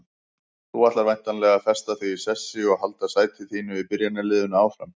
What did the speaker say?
Þú ætlar væntanlega að festa þig í sessi og halda sæti þínu í byrjunarliðinu áfram?